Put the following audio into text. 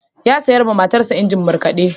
Ya sayo wa matarsa injin markade.